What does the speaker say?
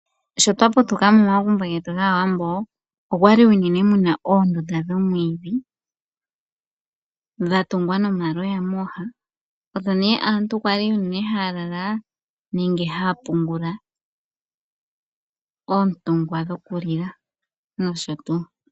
Sho twa putuka momagumbo getu gAawambo, omwali unene muna oondunda dhoomwiidhi dha tungwa nomaloya mooha, odho nee aantu kwali unene haya lala nenge haya pungula oontungwa dhoku lila nosho tuu.